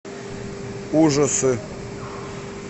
ужасы